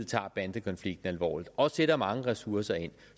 tager bandekonflikten alvorligt og sætter mange ressourcer ind